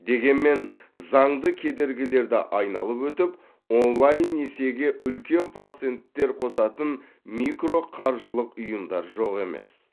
дегенмен заңды кедергілерді айналып өтіп онлайн несиеге үлкен проценттер қосатын микроқаржылық ұйымдар жоқ емес